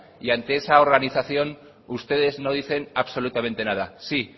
y ante esa organización ustedes no dicen absolutamente nada sí